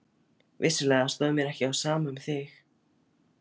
Vissulega stóð mér ekki á sama um þig.